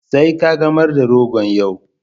Sai kagamar da rogon yau.